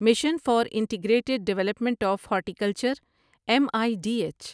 mission for integrated development of horticulture M I D H